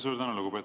Suur tänu!